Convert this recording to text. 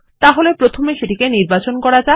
তাহলে প্রথমে এটি নির্বাচন করুন